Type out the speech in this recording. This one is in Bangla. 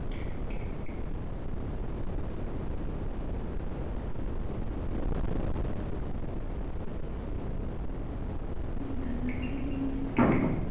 দাদার কথা কি বলছিলিস